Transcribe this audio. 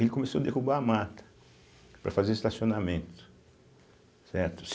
Ele começou derrubar a mata para fazer estacionamento, certo.